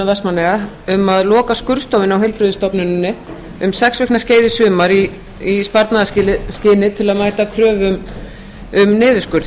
vestmannaeyja um að loka skurðstofunni á heilbrigðisstofnuninni um sex vikna skeið í sumar í sparnaðarskyni til að mæta kröfum um niðurskurð